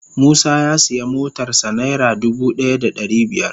Musa ya siya motar sa naira dubu daya da dari biyar.